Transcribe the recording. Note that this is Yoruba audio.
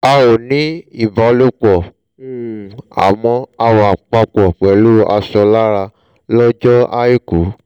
a ò ní ìbálòpọ̀ um àmọ́ a wà papọ̀ pẹ̀lú aṣọ lára lọ́jọ́ àìkú